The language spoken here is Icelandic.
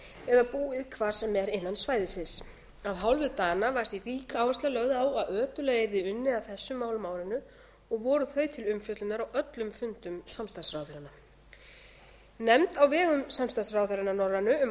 eða búið hvar sem er innan svæðisins af hálfu dana var því rík áhersla lögð á að ötullega yrði unnið að þessum málum á árinu og voru þau til umfjöllunar á öllum fundum samstarfsráðherranna nefnd á vegum samstarfsráðherranna norrænu um